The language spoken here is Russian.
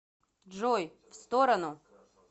джой в сторону